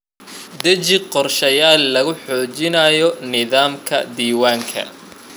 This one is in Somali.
Deji qorshayaal lagu xoojinayo nidaamka diiwaanka.